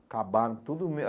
Acabaram tudo.